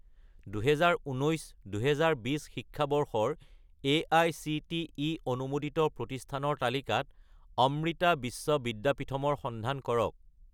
2019 - 2020 শিক্ষাবৰ্ষৰ এআইচিটিই অনুমোদিত প্ৰতিষ্ঠানৰ তালিকাত অমৃতা বিশ্ব বিদ্যাপীথম ৰ সন্ধান কৰক